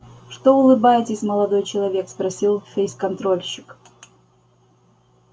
что улыбаетесь молодой человек спросил фейсконтрольщик